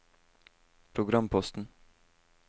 programposten